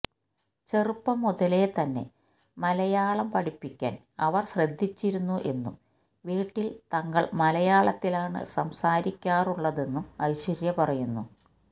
ചെറുപ്പം മുതലേ തന്നെ മലയാളം പഠിപ്പിക്കാന് അവര് ശ്രദ്ധിച്ചിരുന്നു എന്നും വീട്ടില് തങ്ങള് മലയാളത്തിലാണ് സംസാരിക്കാറുള്ളതെന്നും ഐശ്വര്യ പറയുന്നു